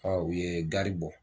u ye gari bɔ